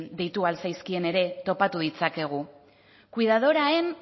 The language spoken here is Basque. deitu al zaizkien ere topatu ditzakegu cuidadora en